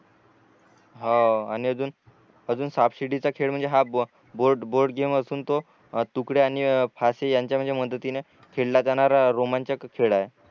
हो आणि अजून अजून साप सीडीचा खेळ म्हणजे हा बोर्ड बोर्ड गेम असून तो तुकडे आरणि फासी यांच्या म्हणजे मदतीने खेळला जाणारा रोमांचक खेळ आहे